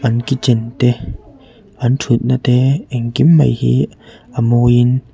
an kitchen te an thut na te engkim mai hi a mawi in--